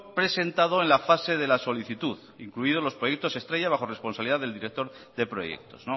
presentado en la fase de la solicitud incluidos los proyectos estrella bajo responsabilidad del director de proyectos